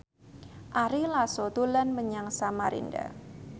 Ari Lasso dolan menyang Samarinda